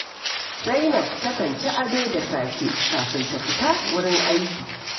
Zainab takan ci ado da safe kafin ta fita wurin aiki